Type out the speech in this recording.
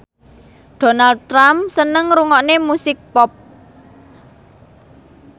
Donald Trump seneng ngrungokne musik pop